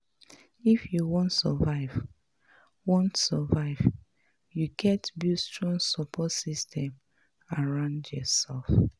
If you wan survive, wan survive, you gats build strong support system around yoursef.